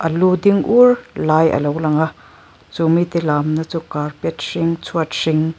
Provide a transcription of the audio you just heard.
lu ding ur lai alo lang a chumi te lamna chu carpet hring chhuat hring --